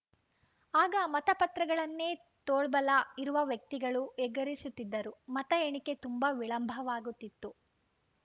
ಆಗ ಮತಪತ್ರಗಳನ್ನೇ ತೋಳ್ಬಲ ಇರುವ ವ್ಯಕ್ತಿಗಳು ಎಗರಿಸುತ್ತಿದ್ದರು ಮತ ಎಣಿಕೆ ತುಂಬಾ ವಿಳಂಬವಾಗುತ್ತಿತ್ತು